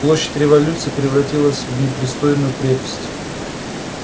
площадь революции превратилась в непристойную крепость